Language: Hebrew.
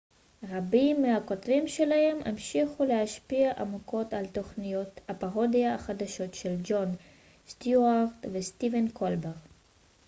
רבים מהכותבים שלהם המשיכו להשפיע עמוקות על תוכניות הפרודיה החדשות של ג'ון סטיוארט וסטיבן קולבר